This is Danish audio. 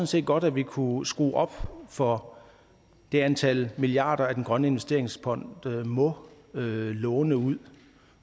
set godt at vi kunne skrue op for det antal milliarder som den grønne investeringsfond må låne ud